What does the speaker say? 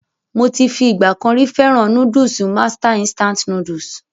Mo ti fi ìgbà kan rí fẹ́ràn núdùsù Master Instant Noodles.